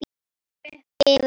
Breiði upp yfir haus.